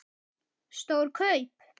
Stór kaup?